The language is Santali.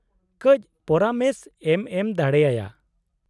-ᱠᱟᱹᱪ ᱯᱚᱨᱟᱢᱮᱥ ᱮᱢ ᱮᱢ ᱫᱟᱲᱮ ᱟᱭᱟ ?